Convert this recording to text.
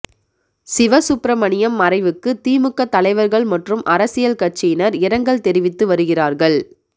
சிவசுப்பிரமணியம் மறைவுக்கு திமுக தலைவர்கள் மற்றும் அரசியல் கட்சியினர் இரங்கல் தெரிவித்து வருகிறார்கள்